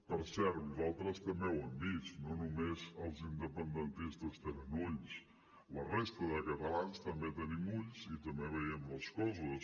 per cert nosaltres també ho hem vist no només els independentistes tenen ulls la resta de catalans també tenim ulls i també veiem les coses